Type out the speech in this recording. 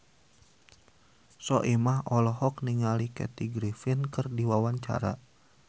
Soimah olohok ningali Kathy Griffin keur diwawancara